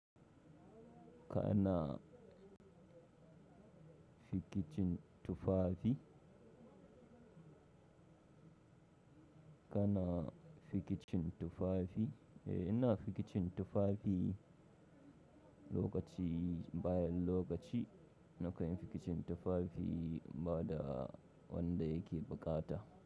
Kana fikicin tufafi? Kana fikicin tufafi? Eh ina fikicin tufafi lokaci, bayan lokaci na kan yi fikicin tufafi bada wanda yake bukata.